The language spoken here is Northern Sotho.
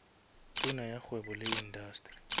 tona ya kgwebo le indasteri